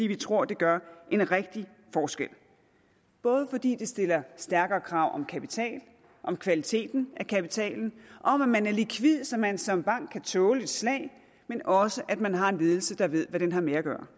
vi tror det gør en rigtig forskel fordi det stiller skærpede krav om kapital om kvaliteten af kapitalen om at man er likvid så man som bank kan tåle et slag men også at man har en ledelse der ved hvad den har med at gøre